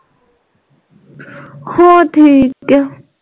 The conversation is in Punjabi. ਹੋਰ ਠੀਕ ਆ